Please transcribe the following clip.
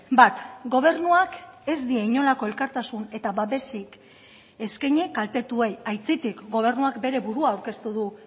bat gobernuak ez die inolako elkartasun eta babesik eskaini kaltetuei aitzitik gobernuak bere burua aurkeztu du